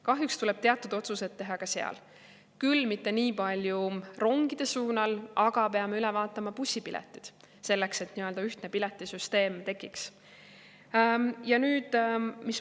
Kahjuks tuleb teatud otsused teha ka seal – küll mitte nii palju rongide puhul, aga peame üle vaatama bussipiletid, selleks et ühtne piletisüsteem tekiks.